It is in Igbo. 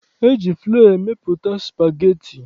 E ji flọ emepụta spageti.